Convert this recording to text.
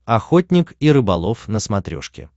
охотник и рыболов на смотрешке